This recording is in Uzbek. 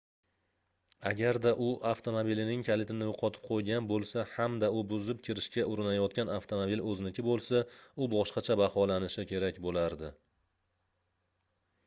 agarda u avtomobilining kalitini yoʻqotib qoʻygan boʻlsa hamda u buzib kirishga urinayotgan avtomobil oʻziniki boʻlsa u boshqacha baholanishi kerak boʻlardi